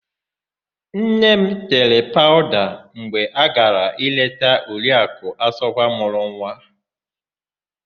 Nne m tere paụda mgbe ọ gara leta Oriakụ Asọgwa mụrụ nwa.